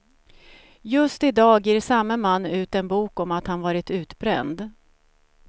Just i dag ger samme man ut en bok om att han varit utbränd.